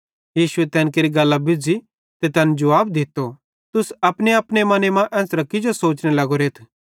शास्त्री ते फरीसी लोक सोचने लगे ए कौन मैनू आए ज़ै परमेशरेरी तुहीन केरते परमेशरेरे अलावा कौन पाप माफ़ केरि सकते